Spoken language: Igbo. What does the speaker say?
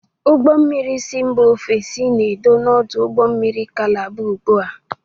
Ụgbọ mmiri si mba ofesi na-edo n'ọdụ ụgbọ mmiri Kalaba ugbua.